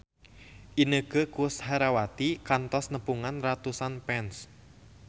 Inneke Koesherawati kantos nepungan ratusan fans